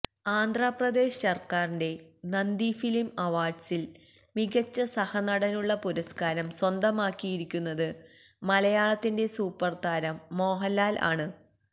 ആന്ധ്രാപ്രദേശ് സര്ക്കാരിന്റെ നന്ദി ഫിലിം അവാര്ഡ്സില് മികച്ച സഹനടനുള്ള പുരസ്കാരം സ്വന്തമാക്കിയിരിക്കുന്നത് മലയാളത്തിന്റെ സൂപ്പര് താരം മോഹന്ലാല് ആണ്